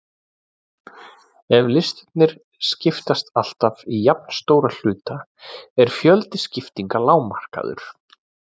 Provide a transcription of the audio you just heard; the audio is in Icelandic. Ef listarnir skiptast alltaf í jafnstóra hluta er fjöldi skiptinga lágmarkaður.